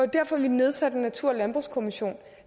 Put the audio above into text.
derfor vi nedsatte en natur og landbrugskommission